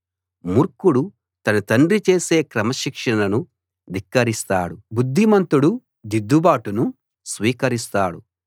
మూర్ఖుడు తన తండ్రి చేసే క్రమశిక్షణను ధిక్కరిస్తాడు బుద్ధిమంతుడు దిద్దుబాటును స్వీకరిస్తాడు